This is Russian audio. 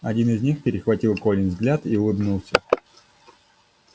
один из них перехватил колин взгляд и улыбнулся